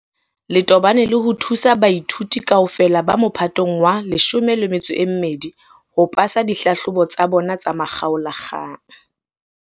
le tobane le ho thusa baithuti kaofela ba Mophatong wa 12 ho pasa dihlahlobo tsa bona tsa makgaola-kgang.